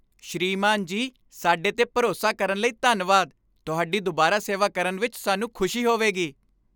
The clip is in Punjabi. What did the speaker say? ਸ੍ਰੀਮਾਨ ਜੀ ਸਾਡੇ 'ਤੇ ਭਰੋਸਾ ਕਰਨ ਲਈ ਧੰਨਵਾਦ। ਤੁਹਾਡੀ ਦੁਬਾਰਾ ਸੇਵਾ ਕਰਨ ਵਿੱਚ ਸਾਨੂੰ ਖੁਸ਼ੀ ਹੋਵੇਗੀ।